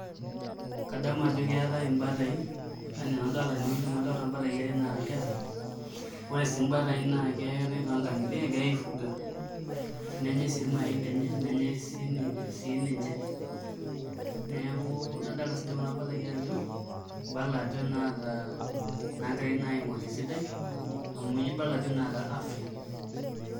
Kadamu ajo keetai imbatai enaa tenewueji amu adolita mbataai are naata nkera ore sii mbataai naa keetai toonkang'itie egirai aifuga nenyai siii irmayaai lenye nenyai sii ninche neeku nadolita siinche kuna bataai ajo ibala ajo inaata inaagirai naa aing'orr esidai amu ibala ajo inaata afya.